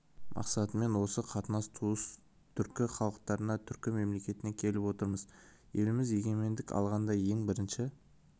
мақсатымен осы қандас туыс түркі халықтарына түркі мемлекетіне келіп отырмыз еліміз егенмендік алғанда ең бірінші